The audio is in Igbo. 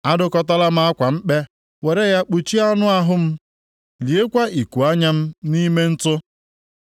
“Adụkọtala m akwa mkpe were ya kpuchie anụ ahụ m, liekwa ikuanya + 16:15 Maọbụ, mpi m nʼime ntụ.